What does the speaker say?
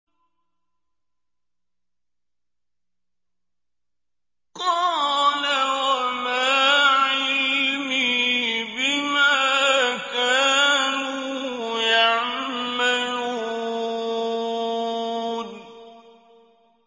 قَالَ وَمَا عِلْمِي بِمَا كَانُوا يَعْمَلُونَ